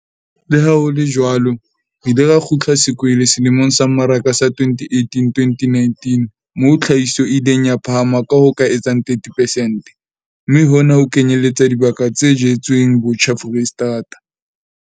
Le ha ho le jwalo, re ile ra kgutla sekwele selemong sa mmaraka sa 2018-2019 moo tlhahiso e ileng ya phahama ka ho ka etsang 30 percent, mme hona ho kenyeletsa dibaka tse jetsweng botjha Foreisetata.